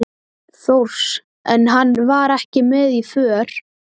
Þórs, en hann var ekki með í för.